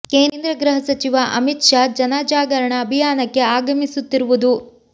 ಕೇಂದ್ರ ಗೃಹ ಸಚಿವ ಅಮಿತ್ ಶಾ ಜನ ಜಾಗರಣ ಅಭಿಯಾನಕ್ಕೆ ಆಗಮಿಸುತ್ತಿರುವುದು